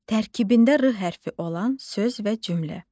Tərkibində r hərfi olan söz və cümlə.